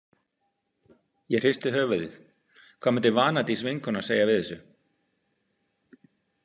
Ég hristi höfuðið, hvað myndi Vanadís vinkona segja við þessu?